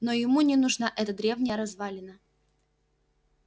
но ему не нужна эта древняя развалина